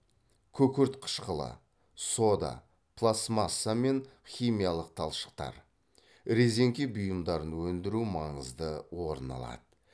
күкірт қышқылы сода пластмасса мен химиялық талшықтар резеңке бұйымдарын өндіру маңызды орын алады